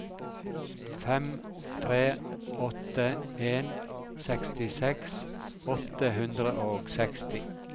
fem tre åtte en sekstiseks åtte hundre og seksti